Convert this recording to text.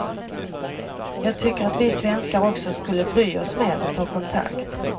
Jag tycker att vi svenskar också skulle bry oss mer och ta kontakt.